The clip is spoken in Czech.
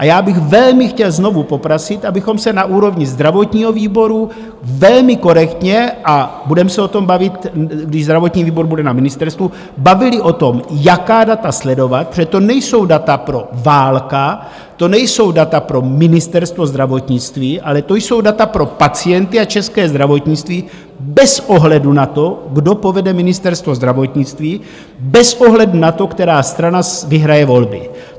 A já bych velmi chtěl znovu poprosit, abychom se na úrovni zdravotního výboru velmi korektně - a budeme se o tom bavit, když zdravotní výbor bude na ministerstvu - bavili o tom, jaká data sledovat, protože to nejsou data pro Válka, to nejsou data pro Ministerstvo zdravotnictví, ale to jsou data pro pacienty a české zdravotnictví bez ohledu na to, kdo povede Ministerstvo zdravotnictví, bez ohledu na to, která strana vyhraje volby.